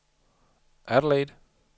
Adelaide